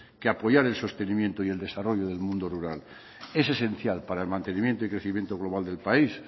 que apoyar el sostenimiento y el desarrollo del mundo rural es esencial para el mantenimiento y crecimiento global del país